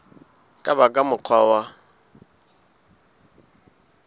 ka ba ka mokgwa wa